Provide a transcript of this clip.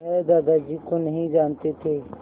वह दादाजी को नहीं जानते थे